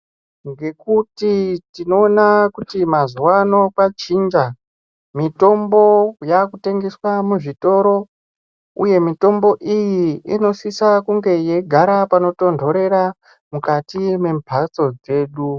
Ngekuti tinooona kuti mazuano kwachinja mitombo yaakutengeswa muzvitoro. Uye mitombo iyi inosisa kunga yeigara panotonhorera mukati mwembatso dzedu.